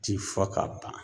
Ti fɔ ka ban